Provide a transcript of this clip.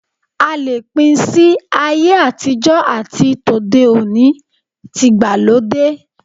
A lè pín si ayé àtijó̩ àti tòde òní/tìgbàlódé.